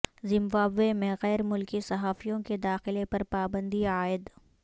Zimbabwe میں غیر ملکی صحافیوں کے داخلے پر پابندی عائد